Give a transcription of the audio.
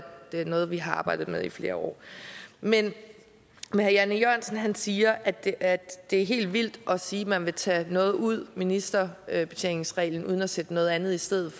det er noget vi har arbejdet med i flere år men herre jan e jørgensen siger at det er er helt vildt at sige at man vil tage noget ud ministerbetjeningsreglen uden at sætte noget andet i stedet